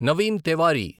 Naveen Tewari